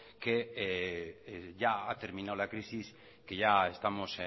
que ya ha terminado la crisis que ya estamos